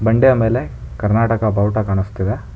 ಬಂಡೆಯ ಮೇಲೆ ಕರ್ನಾಟಕ ಬಾವುಟ ಕಾಣಿಸ್ತಿದೆ.